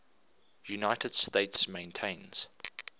united states maintains